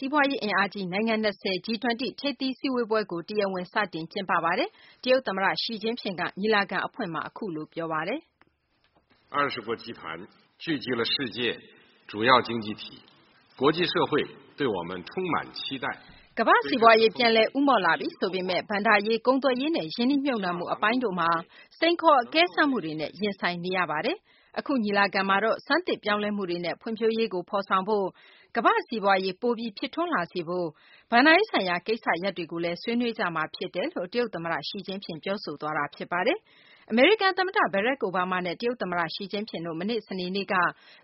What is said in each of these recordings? စီးပွားရေးအင်အားကြီး နိုင်ငံ ၂၀ G-20 ထိပ်သီးစည်းဝေးပွဲကို ဒီကနေ့ စတင်ကျင်းပနေပါတယ်။ တရုတ်သမ္မတ ရှီ ကျင့်ဖျင်က ညီလာခံအဖွင့်စကား ပြောပါတယ်။ “ကမ္ဘာ့စီးပွားရေး ပြန်လည်ဦးမော့လာပြီဆိုပေမယ့် ဘဏ္ဍာရေး၊ ကုန်သွယ်ရေးနဲ့ ရင်းနှီးမြှုပ်နှံမှုအပိုင်းတို့မှာ စိန်ခေါ်အကဲစမ်းမှုတွေနဲ့ ရင်ဆိုင်နေရပါတယ်။ အခု ညီလာခံမှာတော့ ဆန်းသစ်ပြောင်းလဲမှုတွေနဲ့ ဖွံ့ဖြိုးရေးကို ဖော်ဆောင်ဖို့၊ ကမ္ဘာ့စီးပွားရေး ပိုပြီး ဖြစ်ထွန်းလာစေဖို့၊ ဘဏ္ဍာရေးဆိုင်ရာ ကိစ္စရပ်တွေကို ဆွေးနွေးကြမှာ ဖြစ်ပါတယ်။” လို့ တရုတ်သမ္မတ ရှီ ကျင့်ဖျင်က ပြောသွားပါတယ်။ အမေရိကန်သမ္မတ ဘရာ့ခ် အိုဘားမားနဲ့ တရုတ်သမ္မတ ရှီ ကျင့်ဖျင်တို့နှစ်ဦး စနေနေ့က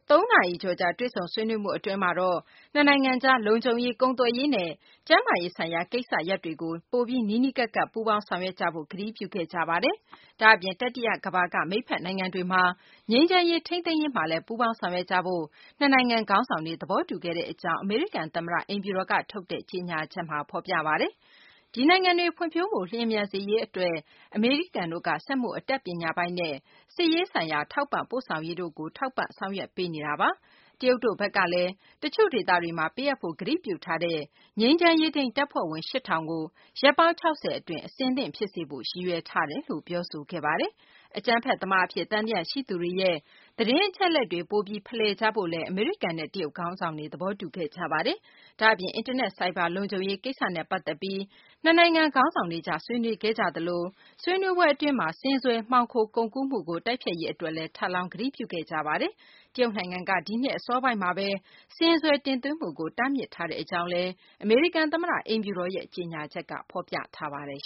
၃ နာရီကျော်ကြာ တွေ့ဆုံဆွေးနွေးမှုအတွင်းမှာတော့ နှစ်နိုင်ငံကြား လုံခြုံရေး၊ ကုန်သွယ်ရေးနဲ့ ကျန်းမာရေးဆိုင်ရာ ကိစ္စရပ်တွေကို ပိုပြီး နီးနီးကပ်ကပ် ပူးပေါင်းဆောင်ရွက်သွားဖို့ ကတိပြုခဲ့ကြပါတယ်။ ဒါ့အပြင် တတိယကမ္ဘာက မိတ်ဖက်နိုင်ငံတွေမှာ ငြိမ်းချမ်းရေး ထိန်းသိမ်းရေးမှာလည်း ပူးပေါင်းဆောင်ရွက်ကြဖို့ နှစ်နိုင်ငံခေါင်းဆောင်တွေ သဘောတူခဲ့တဲ့အကြောင်း အမေရိကန် သမ္မတအိမ်ဖြူတော်က ထုတ်တဲ့ ကြေညာ ချက်မှာ ဖော်ပြပါတယ်။ ဒီနိုင်ငံတွေ ဖွံ့ဖြိုးမှု လျင်မြန်စေရေးအတွက် အမေရိကန်တို့က စက်မှုအတတ်ပညာပိုင်းနဲ့ စစ်ရေးဆိုင်ရာ ထောက်ပံ့ပို့ဆောင်ရေးတို့ကို ထောက်ပံ့ ဆောင်ရွက်ပေးနေတာပါ။ တရုတ်တို့ဘက်ကလည်း တချို့ဒေသ တွေမှာ ပေးအပ်ဖို့ ကတိပြုထားတဲ့ ငြိမ်းချမ်းရေးထိန်းတပ်ဖွဲ့ဝင် ၈,၀၀၀ ကို ရက်ပေါင်း ၆၀ အတွင်း အဆင်သင့် ဖြစ်စေဖို့ ရည်ရွယ်ထားတယ်လို့ ပြောဆိုခဲ့ပါတယ်။ အကြမ်းဖက်သမားအဖြစ် သံသယရှိသူတွေရဲ့ သတင်းအချက်အလက်တွေ ပိုပြီး ဖလှယ်ကြဖို့လည်း အမေရိကန်နဲ့ တရုတ်ခေါင်းဆောင်တွေ သဘောတူခဲ့ကြတာပါ။ ဒါ့အပြင် အင်တာနက် ဆိုင်ဘာလုံခြုံရေး ကိစ္စနဲ့ ပတ်သက်ပြီး နှစ်နိုင်ငံ ခေါင်းဆောင်တွေကြား ဆွေးနွေးကြပါတယ်။ ဆွေးနွေးပွဲအတွင်း ဆင်စွယ် မှောင်ခို ကုန်ကူးမှုကို တိုက်ဖျက်ရေးအတွက်လည်း ထပ်လောင်း ကတိပြုခဲ့ကြပါတယ်။ တရုတ်နိုင်ငံက ဒီနှစ် အစော ပိုင်းမှာပဲ ဆင်စွယ်တင်သွင်းမှုကို တားမြစ်ခဲ့တဲ့အကြောင်းလည်း အမေရိကန်သမ္မတအိမ်ဖြူတော်ရဲ့ ကြေညာချက်က ဖော်ပြပါတယ်